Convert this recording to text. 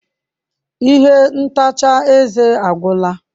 Ihe ntacha eze agwụla.